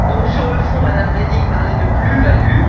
Sur le fond, M me Reding parlait de plus value.